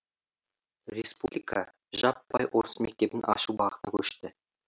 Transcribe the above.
республика жаппай орыс мектебін ашу бағытына көшті